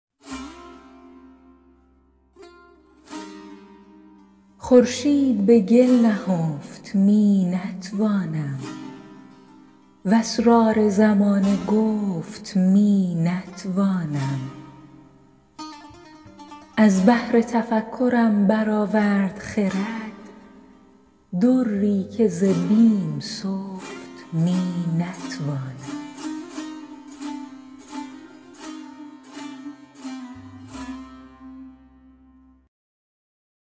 خورشید به گل نهفت می نتوانم و اسرار زمانه گفت می نتوانم از بحر تفکرم برآورد خرد دری که ز بیم سفت می نتوانم